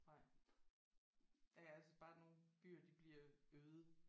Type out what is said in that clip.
Nej ja altså bare nogle byer de bliver øde